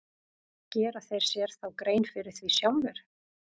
Gera þeir sér þá grein fyrir því sjálfir?